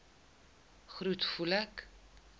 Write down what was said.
groet voel ek